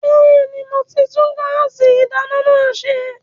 Bẹ́ẹ̀ni, mo ti tún gáàsì ìdáná náà ṣe